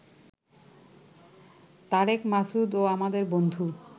তারেক মাসুদ ও আমাদের বন্ধু